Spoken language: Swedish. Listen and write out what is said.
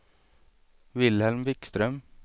Vilhelm Wikström